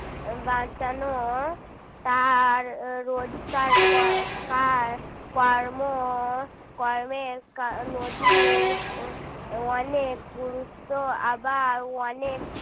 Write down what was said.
বাঁচানো তাঁর রোজকার কার কর্ম কর্মের নদীর অনেক গুরুত্ব আবার অনেক